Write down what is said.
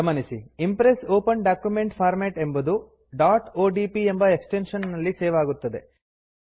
ಗಮನಿಸಿ Impress open document format ಎಂಬುದು odp ಎಂಬ ಎಕ್ಸ್ ಟೆನ್ಶನ್ ನಲ್ಲಿ ಸೇವ್ ಆಗುತ್ತದೆ